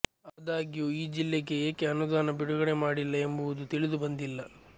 ಆದಾಗ್ಯೂ ಈ ಜಿಲ್ಲೆಗೆ ಏಕೆ ಅನುದಾನ ಬಿಡುಗಡೆ ಮಾಡಿಲ್ಲ ಎಂಬುದು ತಿಳಿದುಬಂದಿಲ್ಲ